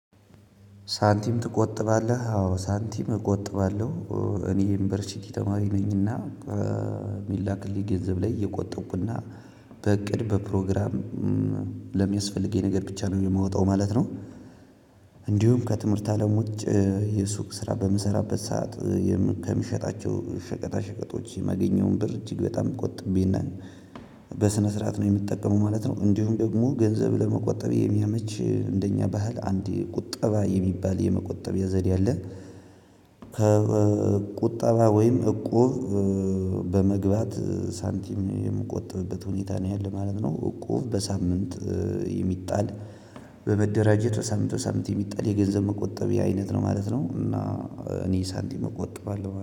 ሳንቲም ትቆጥባለ አዎ ሳንቲም እቆጥባለው እኔ የዩኒቨርስቲ ተማሪ ነኝና ከሚላክልኝ ገንዘብ ላይ እዬቆጠብኩ እና በእቅድ በፕሮግራም ለሚያስፈልገኝ ነገር ብቻ ነው የምወጣው ማለት ነው። እንዲሁም ከትምህርት አለም ውጭ የሱቅ ስራ በምሰራበት ሰዓት ከሚሸጣቸው ሸቀጣ ሸቀጦች የማገኘውን ብር እጅግ በጣም ቆጥቤ እና በስነ ስርዓት ነው የምትጠቀመው ማለት ነው። እንዲሁም ደግሞ ገንዘብ ለመቆጠብ የሚያመች እንደኛ ባህል አንድ ቁጠባ የሚባል የመቆጠቢያ ዘዴ አለ። ከቁጠባ ወይም እቁብ በመግባት ሳንቲም የምቆጥብበት ሁኔታ ነው ያለው ማለት ነው። እቁብ በሳምንት የሚጣል በመደራጀት በሳምንት በሳምንት የሚጣል የገንዘብ መቆጠብ አይነት ነው ማለት ነው። እና እኔ ሳንቲም እቆጥባለሁ